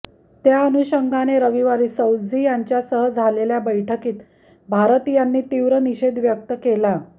त्या अनुषंगाने रविवारी सौझ्झी यांच्यासह झालेल्या बैठकीत भारतीयांनी तीव्र निषेध व्यक्त केला